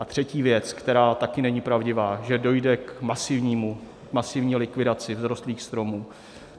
A třetí věc, která také není pravdivá, že dojde k masivní likvidaci vzrostlých stromů.